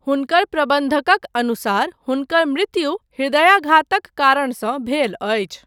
हुनकर प्रबन्धकक अनुसार हुनकर मृत्यु हृदयघातक कारणसँ भेल अछि।